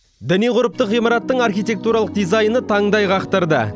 діни ғұрыптық ғимараттың архитектуралық дизайны таңдай қақтырды